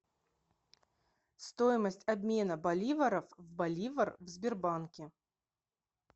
стоимость обмена боливаров в боливар в сбербанке